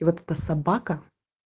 и вот эта собака